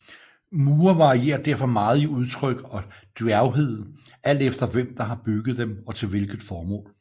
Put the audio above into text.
Mure varierer derfor meget i udtryk og djærvhed alt efter hvem der har bygget dem og til hvilket formål